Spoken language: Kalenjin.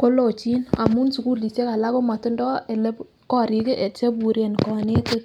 kokochin amun sukulishek alak komotindo ele korik kii cheburen konetik.